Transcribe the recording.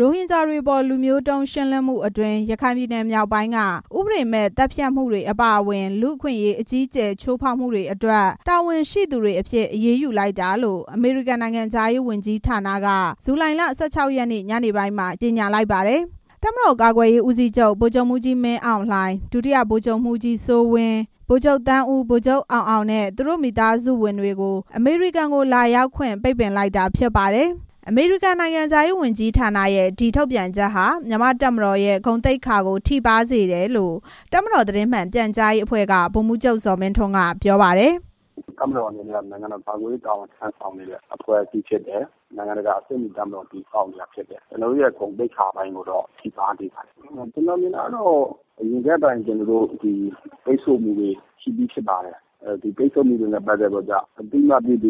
ရိုဟင်ဂျာတွေအပေါ် လူမျိုးတုံး ရှင်းလင်းမှုအတွင်း ရခိုင်ပြည်နယ် မြောက်ပိုင်းက ဥပဒေမဲ့ သတ်ဖြတ်မှုတွေအပါအဝင် လူ့အခွင့်အရေး အကြီးအကျယ် ချိုးဖောက်မှုတွေအတွက် တာဝန်ရှိသူတွေအဖြစ် အရေးယူလိုက်တာလို့ အမေရိကန် နိုင်ငံခြားရေးဌာနက ဇူလိုင်လ ၁၆ ရက်နေ့ ညနေပိုင်းမှာ ကြေညာလိုက်ပါတယ်။ တပ်မတော်ကာကွယ်ရေးဦးစီးချုပ် ဗိုလ်ချုပ်မှူးကြီး မင်းအောင်လှိုင်၊ ဒုတိယ ဗိုလ်ချုပ်မှူးကြီး စိုးဝင်း၊ ဗိုလ်မှူးချုပ် သန်းဦးနဲ့ ဗိုလ်မှူးချုပ် အောင်အောင်နဲ့ သူတို့ရဲ့မိသားစုဝင်တွေကို အမေရိကန်ကို လာရောက်ခွင့် ပိတ်လိုက်တာ ဖြစ်ပါတယ်။ အမေရိကန် နိုင်ငံခြားရေးဝန်ကြီးဌာနရဲ့ ကြေညာချက်ဟာ မြန်မာ့တပ်မတော်ရဲ့ ဂုဏ်သိက္ခာကို ထိပါးစေတယ်လို့ တပ်မတော်သတင်းမှန်ပြန်ကြားရေးအဖွဲ့က ဗိုလ်မှူးချုပ် ဇော်မင်းထွန်း ကပြောပါတယ်။ "တပ်မတော်အနေနဲ့ နိုင်ငံတော်ကာကွယ်ရေး တာဝန် ထမ်းဆောင်နေတဲ့ အဖွဲ့အစည်းဖြစ်တယ်။ နိုင်ငံတကာ အဆင့်မီ တပ်မတော် တည်ဆောက်နေတာဖြစ်တယ်။ ကျနော်တို့ရဲ့ ဂုဏ်သိက္ခာပိုင်းကိုတော့ ထိပါးစေပါတယ် ခင်ဗျ။ အရင်ကတည်းက ပိတ်ဆို့မှုတွေရှိပြီး ဖြစ်ပါတယ်။ အသိမှတ်ပြုသည်ဖြစ်စေ မပြုသ